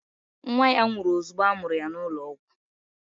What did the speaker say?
Nwa ya nwụrụ ozugbo a mụrụ ya n'ụlọọgwụ